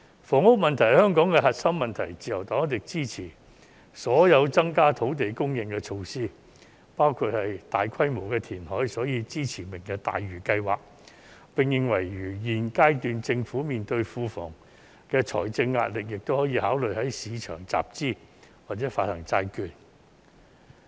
房屋是香港的核心問題，自由黨一定支持所有增加土地供應的措施，包括大規模填海，所以我們支持"明日大嶼"計劃，並認為如現階段政府庫房面對財政壓力，亦可以考慮在市場集資或者發行債券。